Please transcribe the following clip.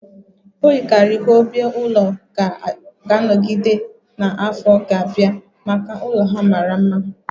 O yikarịrị ka obi-ulo ga-anọgide na afọ ga-abịa maka ụlọ ha mara mma